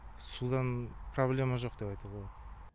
судан проблема жоқ деп айтуға болады